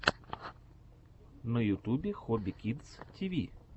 на ютубе хобби кидс ти ви